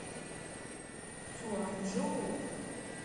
цюаньчжоу